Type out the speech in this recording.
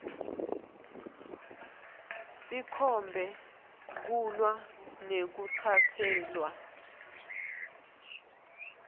sikhombe kulwa nekutsatselwa